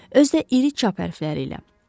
Özü də iri çap hərfləri ilə.